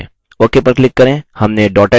ok पर click करें